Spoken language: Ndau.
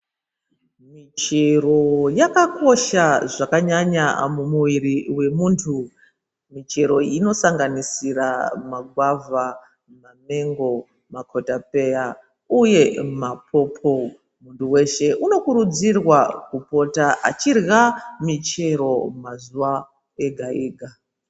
Michero yakakosha zvakanyanya mumuviri wemuntu. Michero iyi inosanganisira magwavha, mamengo, makotapeya uye mapopo. Muntu weshe unokurudzirwa kupota achirya michero mazuva ega-ega.